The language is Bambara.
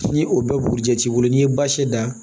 Ni o bɛɛ burujɛ t'i bolo n'i ye baasi da